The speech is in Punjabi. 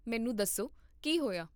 ਮੈਨੂੰ ਦੱਸੋ ਕੀ ਹੋਇਆ